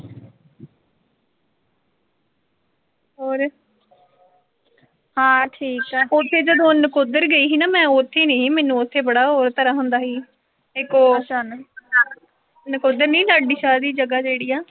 ਹੋਰ ਉਥੇ ਜਦੋਂ ਨਕੋਦਰ ਸਈ ਸੀ ਨਾ ਮੈਂ ਉਥ ਨੀਂ ਸੀ ਮੈਨੂੰ ਉਥੇ ਬੜਾ ਹੋਰ ਤਰਾਂ ਹੁੰਦਾ ਸੀ। ਨਕੋਦਰ ਨੀਂ ਲਾਡੀ ਸ਼ਾਹ ਦੀ ਜਗਾ ਜਿਹੜੀ ਆ